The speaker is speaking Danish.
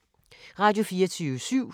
Radio24syv